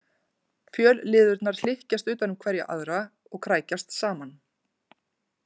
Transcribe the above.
Fjölliðurnar hlykkjast utan um hverja aðra og krækjast saman.